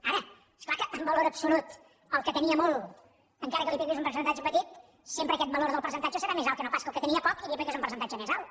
ara és clar que en valor absoluts el que tenia molt encara que li apliquis un percentatge petit sempre aquest valor del percentatge serà més alt que no pas el que tenia poc i li apliques un percentatge més alt